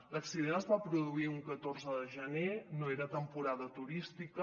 l’accident es va produir un catorze de gener no era temporada turística